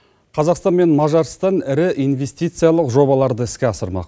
қазақстан мен мажарстан ірі инвестициялық жобаларды іске асырмақ